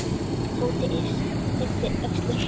Tóti yppti öxlum.